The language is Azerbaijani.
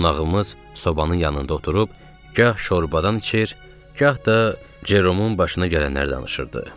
Qonağımız sobanın yanında oturub gah şorbadan içir, gah da Ceromun başına gələnləri danışırdı.